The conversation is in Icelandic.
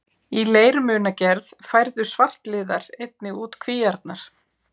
Í leirmunagerð færðu svartliðar einnig út kvíarnar.